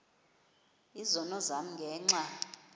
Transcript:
izono zam ngenxa